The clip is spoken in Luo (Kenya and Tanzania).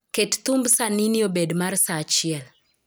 Ket thumb sanini obed mar sa achiel